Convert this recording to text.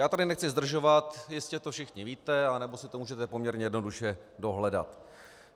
Já tady nechci zdržovat, jistě to všichni víte nebo si to můžete poměrně jednoduše dohledat.